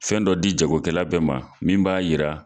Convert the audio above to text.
Fɛn dɔ di jago kɛla bɛɛ ma min b'a yira